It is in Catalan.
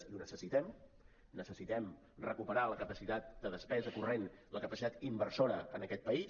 i ho necessitem necessitem recuperar la capacitat de despesa corrent la capacitat inversora en aquest país